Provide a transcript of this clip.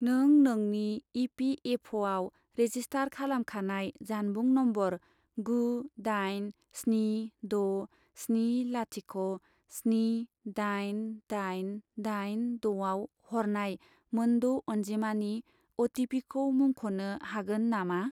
नों नोंनि इ.पि.एफ.अ'.आव रेजिस्टार खालामखानाय जानबुं नम्बर गु दाइन स्नि द' स्नि लाथिख' स्नि दाइन दाइन दाइन द' आव हरनाय मोन द' अनजिमानि अ.टि.पि.खौ मुंख'नो हागोन नामा?